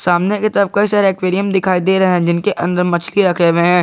सामने के तरफ कई एक्वेरियम दिखाई दे रहे हैं जिनके अंदर मछली रखे हुए हैं।